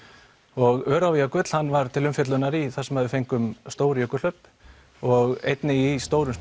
og Öræfajökull hann var til umfjöllunar í þar sem við fengum stór jökulhlaup og einnig í stórum